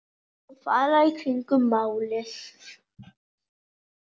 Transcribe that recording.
Fara í kringum málið?